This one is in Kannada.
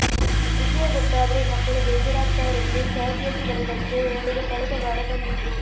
ವಿಷಯ ಗೊತ್ತಾದ್ರೆ ಮಕ್ಕಳು ಬೇಜಾರಾಗ್ತಾರೆಂದು ಸಹದ್ಯೋಗಿಗಳಿಗಷ್ಟೆ ಹೇಳಲು ಕಳೆದ ವಾರ ಬಂದಿದ್ರು